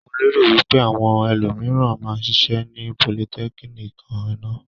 Mo lérò wí pé àwọn ẹlòmìíràn máa ṣiṣẹ́ ní politẹ́kíníìkì náà.